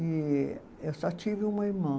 E eu só tive uma irmã.